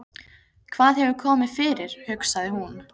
Hvað hefur komið fyrir, hugsaði hún.